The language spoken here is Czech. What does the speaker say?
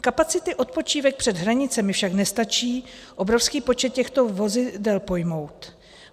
Kapacity odpočívek před hranicemi však nestačí obrovský počet těchto vozidel pojmout.